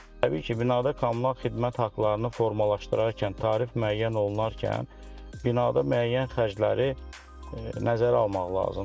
Təbii ki, binada kommunal xidmət haqlarını formalaşdırarkən tarif müəyyən olunarkən binada müəyyən xərcləri nəzərə almaq lazımdır.